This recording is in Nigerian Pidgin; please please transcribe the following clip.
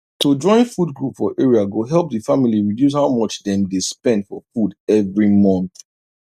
to join food group for area go help the family reduce how much dem dey spend for food every month